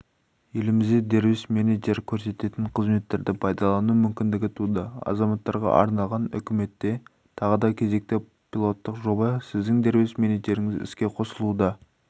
елімізде дербес менеджер көрсететін қызметтерді пайдалану мүмкіндігі туды азаматтарға арналған үкіметте тағы да кезекті пилоттық жоба сіздің дербес менеджеріңіз іске қосылуда